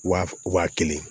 Wa wa kelen